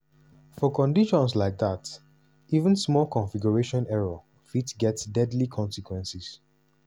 for conditions like dat even small configuration error fit get deadly consequences.